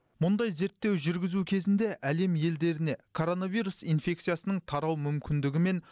мұндай зерттеу жүргізу кезінде әлем елдеріне коронавирус инфекциясының тарау мүмкіндігі мен